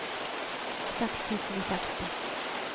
seks tusen og seksti